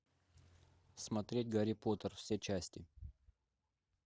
смотреть гарри поттер все части